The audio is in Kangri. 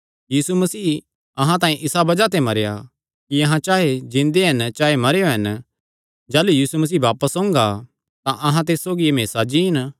यीशु मसीह अहां तांई इसा बज़ाह ते मरेया कि अहां चाहे जिन्दे हन चाहे मरेयो हन जाह़लू यीशु मसीह बापस ओंगा तां अहां तिस सौगी हमेसा जीन